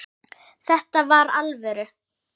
Þetta var alvöru.